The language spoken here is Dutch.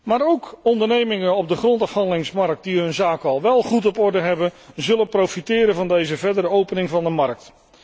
Maar ook ondernemingen op de grondafhandelingsmarkt die hun zaken al wel goed op orde hebben, zullen profiteren van deze verdere opening van de markt